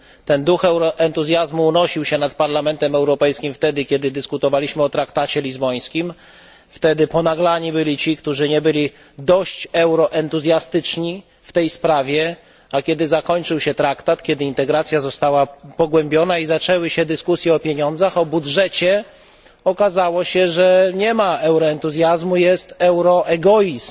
Ten duch entuzjazmu unosił się nad Parlamentem Europejskim, kiedy dyskutowaliśmy o traktacie lizbońskim. Wtedy ponaglano tych, którzy nie byli dość euroentuzjastyczni w tej sprawie, a kiedy negocjacje traktatowe się zakończyły, integracja została pogłębiona i zaczęły się dyskusje o pieniądzach, o budżecie, okazało się, że zamiast euroentuzjazmu jest euroegoizm